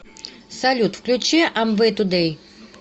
салют включи амвэй тудэй